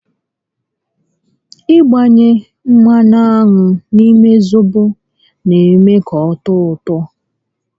Ị gbanye mmanụ aṅụ n'ime zobo n'eme ka ọ tọọ ụtọ